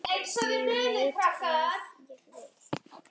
Ég veit hvað ég vil!